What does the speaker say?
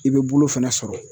I be bulu fɛnɛ sɔrɔ.